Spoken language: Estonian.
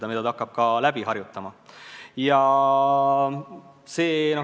Ja seda ta hakkab ka läbi harjutama.